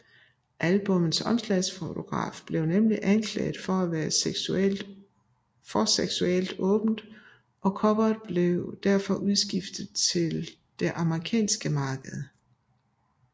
Albummets omslagsfotograf blev nemlig anklaget for at være for seksuelt åben og coveret blev derfor udskiftet til det amerikanske marked